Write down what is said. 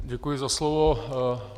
Děkuji za slovo.